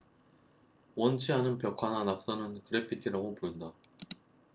원치 않은 벽화나 낙서는 그래피티라고 부른다